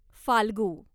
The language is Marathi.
फाल्गू